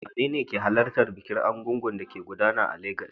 Wanene ke halartar bikin Egúngún da ke gudana a Legas?